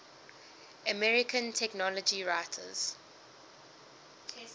american technology writers